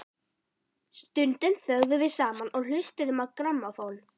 Stundum þögðum við saman og hlustuðum á grammófón.